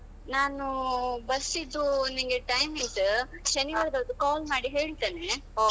ನಾನು ಬಸ್ಸಿದು ಒಂದು ನಿಂಗೆ timing ಶನಿವಾರ ಒಂದ್ call ಮಾಡಿ ಹೇಳ್ತೇನೆ.